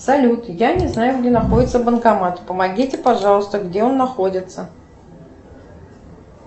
салют я не знаю где находится банкомат помогите пожалуйста где он находится